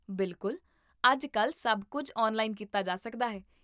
ਬਿਲਕੁਲ, ਅੱਜ ਕੱਲ੍ਹ ਸਭ ਕੁੱਝ ਆਨਲਾਈਨ ਕੀਤਾ ਜਾ ਸਕਦਾ ਹੈ